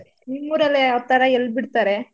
ನಿಮ್ಮ್ ಊರಲ್ಲಿ ಯಾವ್ತಾರ ಎಲ್ಬಿಡ್ತಾರೆ?